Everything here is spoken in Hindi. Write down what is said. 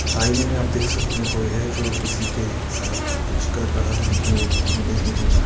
आइने में आप देख सकते है कोई है जो किसी के साथ कुछ कर रहा है लेकिन वो देख नहीं पा रहा--